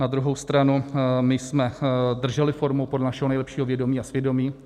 Na druhou stranu my jsme drželi formu podle našeho nejlepšího vědomí a svědomí.